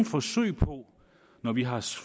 forsøg på når vi har